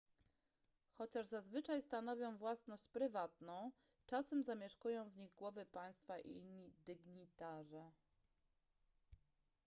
chociaż zazwyczaj stanowią własność prywatną czasem zamieszkują w nich głowy państwa i inni dygnitarze